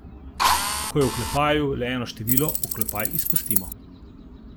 Ko je v oklepaju le eno število, oklepaj izpustimo.